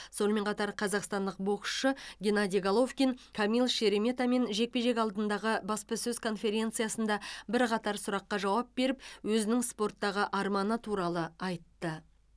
сонымен қатар қазақстандық боксшы геннадий головкин камил шереметамен жекпе жек алдындағы баспасөз конференциясында бірқатар сұраққа жауап беріп өзінің спорттағы арманы туралы айтты